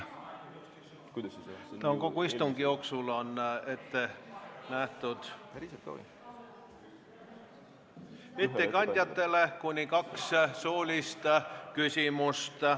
Kogu istungi jooksul võib ettekandjatele esitada kuni kaks suulist küsimust.